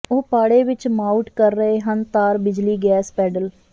ਉਹ ਪਾੜੇ ਵਿੱਚ ਮਾਊਟ ਕਰ ਰਹੇ ਹਨ ਤਾਰ ਬਿਜਲੀ ਗੈਸ ਪੈਡਲ